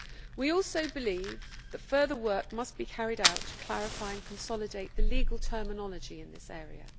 We also believe that further work must be carried out to clarify and consolidate the legal terminology in this area.